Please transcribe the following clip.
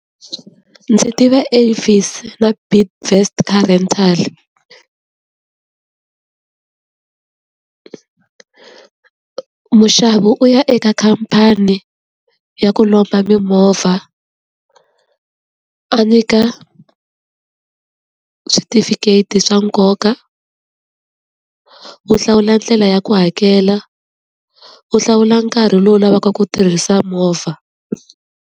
Ndzi tiva Avis na Bidvest car rental. Muxavi u ya eka khamphani ya ku lomba mimovha, a nyika switifiketi swa nkoka, u hlawula ndlela ya ku hakela, u hlawula nkarhi lowu u lavaka ku tirhisa movha.